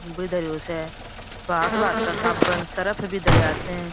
भी धरियो स भांत भाँत का साबन सर्फ़ भी धरेया स।